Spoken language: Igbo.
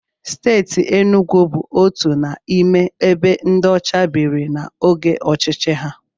Steeti Enugwu bụ otu n'ime ebe ndị ọcha biri n'oge ọchịchị ha.